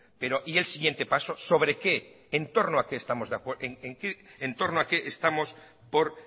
pero y el siguiente paso sobre qué en torno a qué estamos por